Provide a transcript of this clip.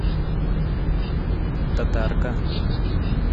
татарка